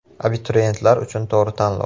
Abituriyentlar uchun to‘g‘ri tanlov!.